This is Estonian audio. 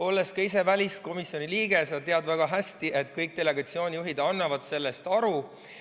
Oled ka ise väliskomisjoni liige ja sa tead väga hästi, et kõik delegatsioonijuhid annavad oma tööst aru.